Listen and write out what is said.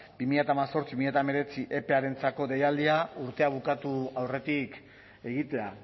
bi mila hemezortzi bi mila hemeretzi epearentzako deialdia urtea bukatu aurretik egitea